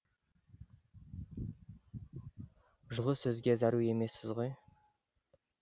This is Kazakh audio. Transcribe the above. жылы сөзге зәру емессіз ғой